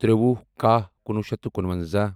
تِرٛوُہ کَہہ کُنوُہ شیٚتھ تہٕ کُنونٛزاہ